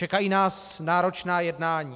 Čekají nás náročná jednání.